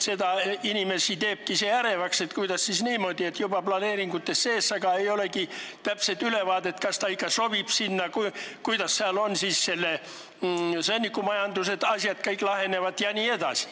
Inimesi teebki ärevaks, et kuidas siis niimoodi, et juba planeeringutes sees, aga ei ole täpset ülevaadet, kas see ikka sobib sinna – kuidas seal sõnnikumajanduse asjad ja kõik muud lahenevad.